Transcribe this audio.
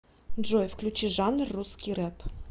джой включи жанр русский рэп